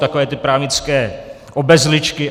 Takové ty právnické obezličky.